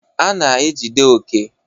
A na-ejide Oke.